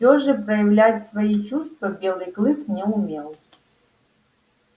всё же проявлять свои чувства белый клык не умел